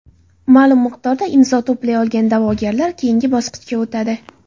Ma’lum miqdorda imzo to‘play olgan da’vogarlar keyingi bosqichga o‘tadi.